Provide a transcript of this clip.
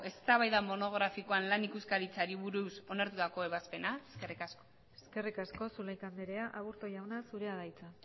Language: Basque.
eztabaida monografikoan lan ikuskaritzari buruz onartutako ebazpena eskerrik asko eskerrik asko zulaika andrea aburto jauna zurea da hitza